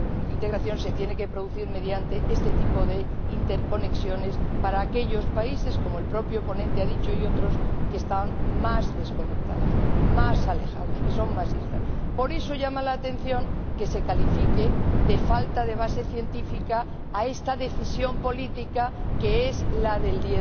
integración se tiene que producir mediante este tipo de interconexiones para aquellos países, como el propio ponente y otros diputados han dicho, que están más desconectados, más alejados, que son más islas. Por eso llama la atención que se califique de falta de base científica a esta decisión política que es la del